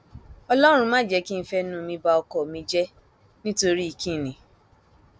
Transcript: ọlọrun mà jẹ kí n fẹnu mi ba ọkọ mi jẹ nítorí kín ni